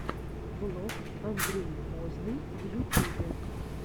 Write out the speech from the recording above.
влог андрей возный в ютюбе